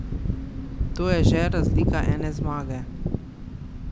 To je že razlika ene zmage.